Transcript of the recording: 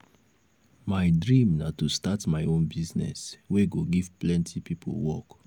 i don plan as i go take give my children beta education.